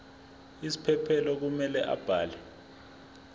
isiphephelo kumele abhale